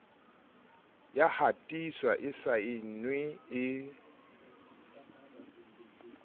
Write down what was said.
ya hatiswa e saenwe e